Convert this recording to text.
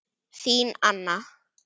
Þín, Anna.